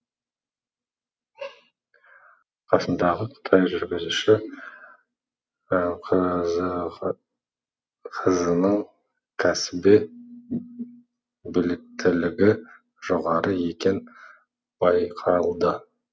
қасындағы қытай жүргізуші қызының кәсіби біліктілігі жоғары екені байқалды